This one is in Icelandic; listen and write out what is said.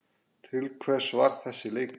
Til hvers var þessi leikur?